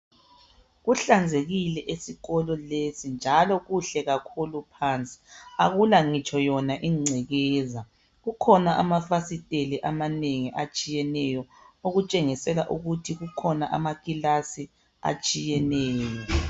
Kuhlanzekile esikolo lesi njalo kuhle kakhulu phansi, akulangitsho yona ingcekeza, kukhona amafasiteli amanengi atshiyeneyo okutshengisela ukuthi kukhona amakilasi atshiyeneyo.